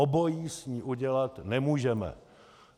Obojí s ní udělat nemůžeme.